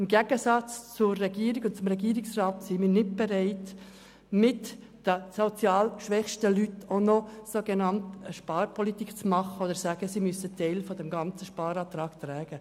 Im Gegensatz zum Regierungsrat sind wir nicht bereit, zulasten der sozial schwächsten Leuten eine sogenannte Sparpolitik zu betreiben oder zu sagen, sie müssten einen Teil des Sparantrags tragen.